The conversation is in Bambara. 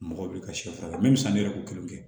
Mɔgɔ bɛ ka si fara min misɛnnin yɛrɛ ko kelen kɛ